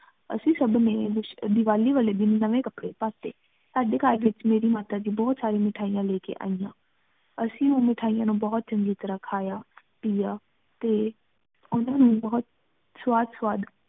ਅੱਸੀ ਸਬ ਦਿਵਾਲੀ ਵਾਲੀ ਦਿਨ ਨਵੀ ਕਪਰੀ ਪਾ ਟੀ ਸਾਡੀ ਘਰ ਵਿਚ ਮੇਰੀ ਮਾਤਾ ਗ ਬੋਹਤ ਸਰਿਯਾ ਮਿਠਾਇਯਾਂ ਲੀ ਕ ਆਇਯਾਂ ਅੱਸੀ ਓਹ ਮਿਠਾਈ ਨੂ ਬੋਹਤ ਚੰਗੀ ਤਰ੍ਹਾ ਖਯਾ ਪਿਯਾ ਤੇ ਓਨਹਾ ਨੂ ਬੋਹਤ ਸਵਾਦ ਸਵਾਦ